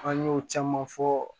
An y'o caman fɔ